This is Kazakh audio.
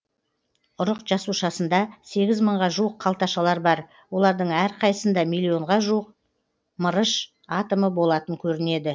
ұрық жасушасында сегіз мыңға жуық қалташалар бар олардың әрқайсында миллионға жуық мырыш атомы болатын көрінеді